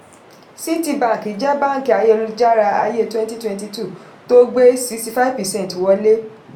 citibank jẹ́ báńkì ayélujára ayé cs] twenty twenty-two tó gbé sixty-five percent wọlé.